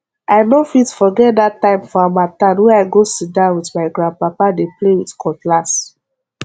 i no fit forget that time for harmattan wey i go sit down with my grandpapa dey play with cutlass